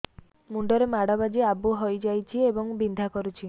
ମୁଣ୍ଡ ରେ ମାଡ ବାଜି ଆବୁ ହଇଯାଇଛି ଏବଂ ବିନ୍ଧା କରୁଛି